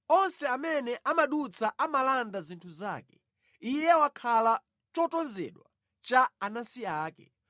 Onse amene amadutsa amalanda zinthu zake; iye wakhala chotonzedwa cha anansi ake.